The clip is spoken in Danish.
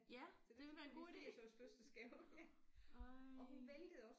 Ja det ville være en god ide ej